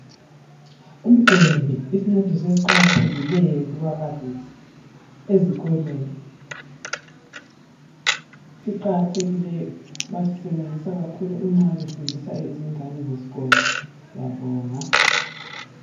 Ugwembe isincediso esiqakathekileyo kubabalisi ezikolweni siqakathekile basisebenzisa kakhulu nxa befundisa abantwana besikolo siyabonga.